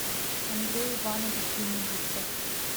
андрей иванович венедиктов